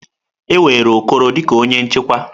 E were Okoro dị ka onye nchekwa.